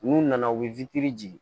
N'u nana u bɛ jigin